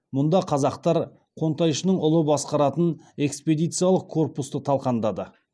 мұнда қазақтар қонтайшының ұлы басқаратын экспедициялық корпусты талқандады